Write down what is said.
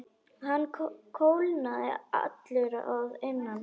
Hann kólnaði allur að innan.